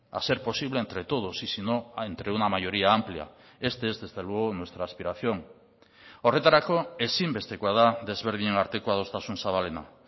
a ser posible entre todos y si no entre una mayoría amplia este es desde luego nuestra aspiración horretarako ezinbestekoa da desberdinen arteko adostasun zabalena